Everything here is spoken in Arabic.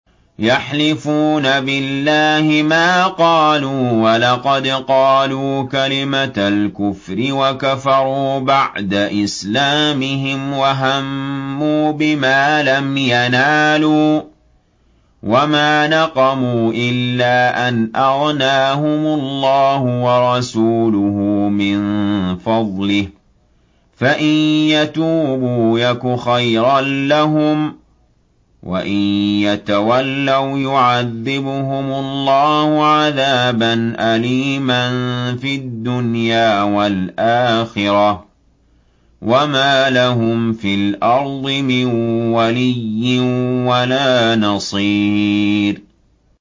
يَحْلِفُونَ بِاللَّهِ مَا قَالُوا وَلَقَدْ قَالُوا كَلِمَةَ الْكُفْرِ وَكَفَرُوا بَعْدَ إِسْلَامِهِمْ وَهَمُّوا بِمَا لَمْ يَنَالُوا ۚ وَمَا نَقَمُوا إِلَّا أَنْ أَغْنَاهُمُ اللَّهُ وَرَسُولُهُ مِن فَضْلِهِ ۚ فَإِن يَتُوبُوا يَكُ خَيْرًا لَّهُمْ ۖ وَإِن يَتَوَلَّوْا يُعَذِّبْهُمُ اللَّهُ عَذَابًا أَلِيمًا فِي الدُّنْيَا وَالْآخِرَةِ ۚ وَمَا لَهُمْ فِي الْأَرْضِ مِن وَلِيٍّ وَلَا نَصِيرٍ